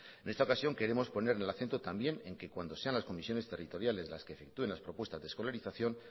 en esta ocasión queremos poner el acento también en que cuando sean las comisiones territoriales las que efectúen las propuestas de escolarización